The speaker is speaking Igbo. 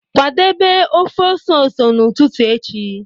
Kwadebe ọfe ọse ọse n'ụtụtụ echi